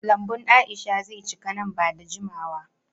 Lambun Aisha ze cika nan ba da jimawa.